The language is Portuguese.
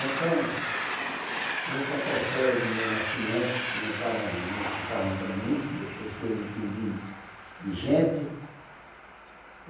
Então, eu vou contar a história de meu nascimento, que meu pai mais minha mãe contavam para mim, depois que eu me entendi de gente.